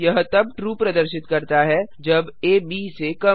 यह तब ट्रू प्रदर्शित करता है जब आ ब से कम हो